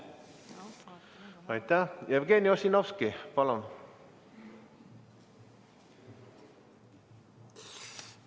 Jevgeni Ossinovski, palun!